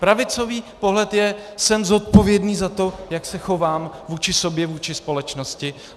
Pravicový pohled je: Jsem zodpovědný za to, jak se chovám vůči sobě, vůči společnosti.